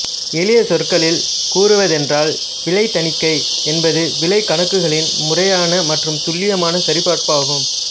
எளிய சொற்களில் கூறுவதென்றால் விலை தணிக்கை என்பது விலை கணக்குகளின் முறையான மற்றும் துல்லியமான சரிபார்ப்பு ஆகும்